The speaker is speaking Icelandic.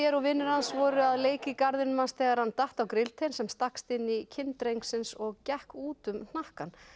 og vinir hans voru að leik í garðinum hans þegar hann datt á grilltein sem stakkst inn í kinn drengsins og gekk út um hnakkann